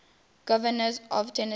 governors of tennessee